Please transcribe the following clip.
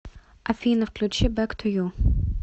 афина включи бэк ту ю